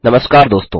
नमस्कार दोस्तों